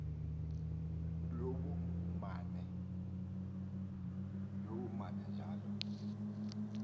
lobumanenjala